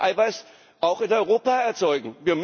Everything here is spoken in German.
Wir können Eiweiß auch in Europa erzeugen.